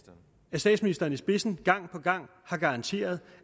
statsministeren i spidsen gang på gang har garanteret